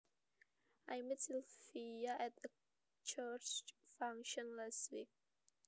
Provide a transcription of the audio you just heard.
I met Sylvia at a church function last week